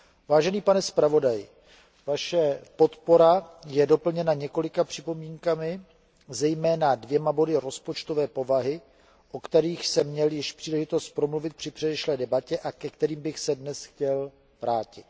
Vážený pane zpravodaji, Vaše podpora je doplněná několika připomínkami, zejména dvěma body rozpočtové povahy, o kterých jsem měl již příležitost promluvit při předešlé debatě a ke kterým bych se chtěl dnes vrátit.